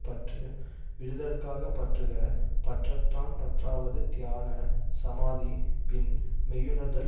பற்று விடுதற்காகப் பற்றுக பற்றற்றான் பற்றாவது தியான சமாதி பின் மெய்யுணர்தல்